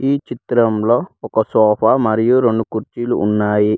ఈ చిత్రంలో ఒక సోఫా మరియు రెండు కుర్చీలు ఉన్నాయి.